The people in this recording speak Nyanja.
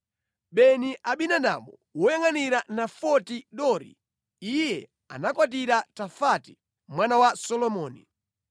Beni-Abinadabu, woyangʼanira Nafoti Dori (iye anakwatira Tafati mwana wa Solomoni);